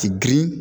K'i girin